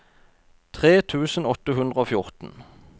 tre tusen åtte hundre og fjorten